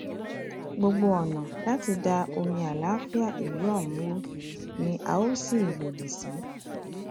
gbogbo ọnà láti da omi àlàáfíà àlàáfíà ìlú ọhún rú ni a ó sì lòdì sí